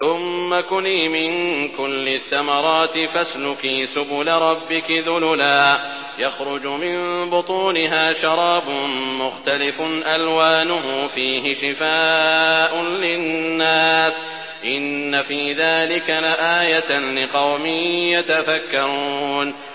ثُمَّ كُلِي مِن كُلِّ الثَّمَرَاتِ فَاسْلُكِي سُبُلَ رَبِّكِ ذُلُلًا ۚ يَخْرُجُ مِن بُطُونِهَا شَرَابٌ مُّخْتَلِفٌ أَلْوَانُهُ فِيهِ شِفَاءٌ لِّلنَّاسِ ۗ إِنَّ فِي ذَٰلِكَ لَآيَةً لِّقَوْمٍ يَتَفَكَّرُونَ